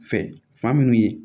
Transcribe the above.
Fɛ fa minnu ye